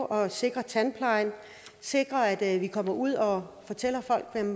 og sikre tandplejen sikre at at vi kommer ud og fortæller folk